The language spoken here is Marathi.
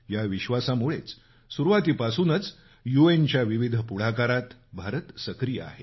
या विश्वासामुळेच सुरुवातीपासूनच यूएनच्या विविध पुढाकारात भारत सक्रीय आहे